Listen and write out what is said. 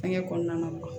Fɛnkɛ kɔnɔna na